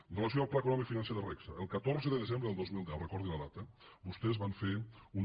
amb relació al pla econòmic financer de regsa el catorze de desembre del dos mil deu recordi la data vostès van fer una